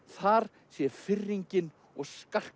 þar sé firringin og